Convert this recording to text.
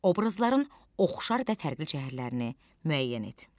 Obrazların oxşar və fərqli cəhətlərini müəyyən et.